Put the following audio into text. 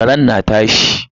Karen na ta haushi.